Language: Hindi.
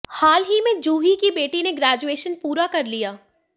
हाल ही में जूही की बेटी ने ग्रेजुएशन पूरा कर लिया